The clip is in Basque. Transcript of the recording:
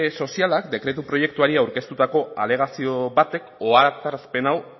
sozialak dekretu proiektuari aurkeztutako alegazio batek ohartarazpen hau